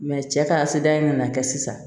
cɛ ka se da in na kɛ sisan